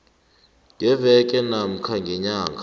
ngeveke namkha ngenyanga